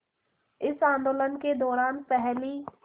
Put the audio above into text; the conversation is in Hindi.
इस आंदोलन के दौरान पहली